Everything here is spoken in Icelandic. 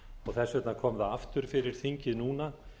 og þess vegna kom það aftur fyrir þingið núna